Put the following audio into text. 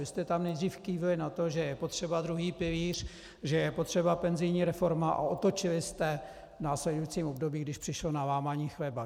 Vy jste tam nejdřív kývli na to, že je potřeba druhý pilíř, že je potřeba penzijní reforma, a otočili jste v následujícím období, když došlo na lámání chleba.